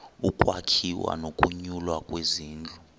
ukwakhiwa nokunyulwa kwezindlu